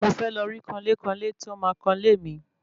Mo fẹ́ lọ rí kanlé kanlé tí ó máa kanlé mi